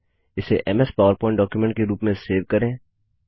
इसे MS PowerPoint document के रूप में सेव करें